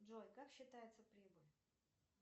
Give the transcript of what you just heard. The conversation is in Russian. джой как считается прибыль